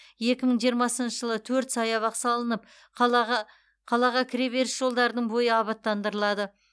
екі мың жиырмасыншы жылы төрт саябақ салынып қалаға қалаға кіре беріс жолдардың бойы абаттандырылады